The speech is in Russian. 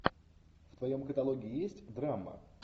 в твоем каталоге есть драма